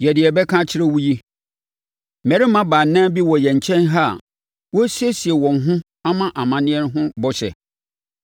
Yɛ deɛ yɛrebɛka akyerɛ wo yi. Mmarima baanan bi wɔ yɛn nkyɛn ha a, wɔresiesie wɔn ho ama amanneɛ ho bɔhyɛ.